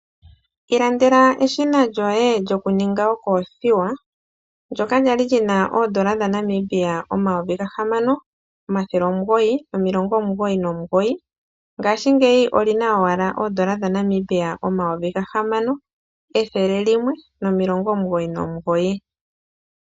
Ilandela eshina lyoye lyokuninga okoothiwa ndyoka kwali lyina oondola dhaNamibia omayovi gahamano omathele omugoyi nomilongo omugoyi nomugoyi ngashingeyi olina owala oondola dhaNamibia omayovi gahamano ethele nomilongo omugoyi nomugoyi.